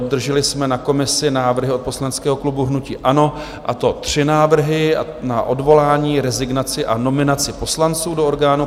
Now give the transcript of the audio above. Obdrželi jsme na komisi návrhy od poslaneckého klubu hnutí ANO, a to tři návrhy, na odvolání, rezignaci a nominaci poslanců do orgánů